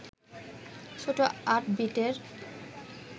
ছোট ৮ বিটের